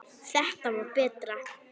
Þetta var betra.